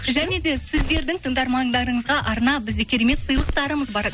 және де сіздердің тыңдармандарыңызға арнап бізде керемет сыйлықтарымыз бар